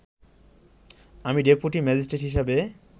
আমি deputy magistrate হিসেবে